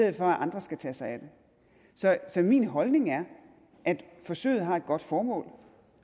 at andre skal tage sig af en så min holdning er at forsøget har et godt formål